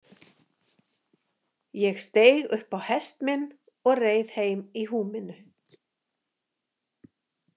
Ég steig upp á hest minn og reið heim í húminu.